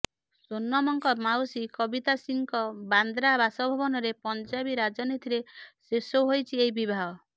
ସୋନମଙ୍କ ମାଉସୀ କବିତା ସିଂଙ୍କ ବାନ୍ଦ୍ରା ବାସଭବନରେ ପଂଜାବୀ ରୀତିନୀତିରେ ଶେଷ ହୋଇଛି ଏହି ବିବାହ